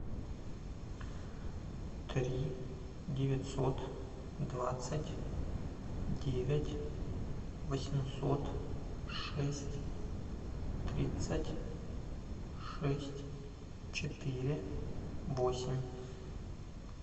три девятьсот двадцать девять восемьсот шесть тридцать шесть четыре восемь